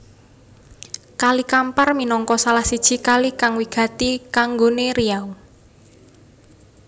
Kali Kampar minangka salah siji kali kang wigati kanggoné Riau